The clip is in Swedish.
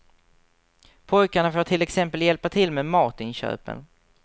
Pojkarna får till exempel hjälpa till med matinköpen.